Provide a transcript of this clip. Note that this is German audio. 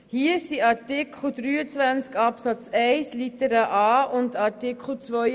Damit spreche ich Artikel 23 Absatz 1 Buchstabe a und Artikel 32 an.